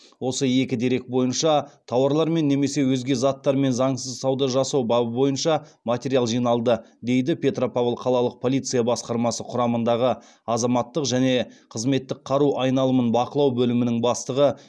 осы екі дерек бойынша тауарлармен немесе өзге де заттармен заңсыз сауда жасау бабы бойынша материал жиналды дейді петропавл қалалық полиция басқармасы құрамындағы азаматтық және қызметтік қару айналымын бақылау бөлімінің бастығы